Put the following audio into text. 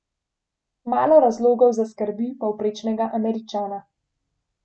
Malo razlogov za skrbi povprečnega Američana.